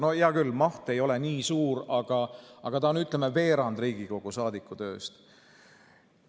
No hea küll, maht ei ole nii suur, ta on, ütleme, veerand Riigikogu saadiku tööst.